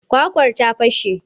Kwakwar ta fashe.